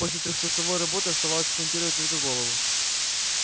после трехчасовой работы оставалось смонтировать только голову